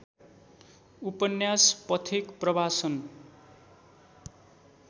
उपन्यास पथिक प्रवासन